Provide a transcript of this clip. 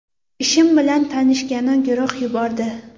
Ishim bilan tanishgani guruh yubordi.